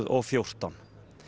og fjórtán